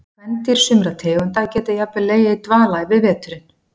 Kvendýr sumra tegunda geta jafnvel legið í dvala yfir veturinn.